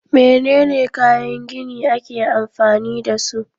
Menene kayan gini ake amfani dasu?